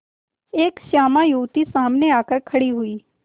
एक श्यामा युवती सामने आकर खड़ी हुई